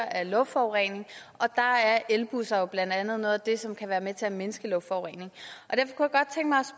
af luftforurening og der er elbusser jo blandt andet noget af det som kan være med til at mindske luftforureningen